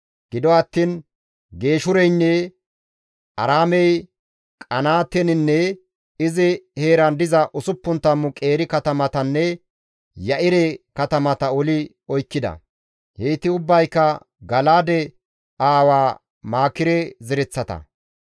Gido attiin Geeshureynne Aaraamey Qenaateninne izi heeran diza 60 qeeri katamatanne Ya7ire katamata oli oykkida; heyti ubbayka Gala7aade aawa Maakire zereththata.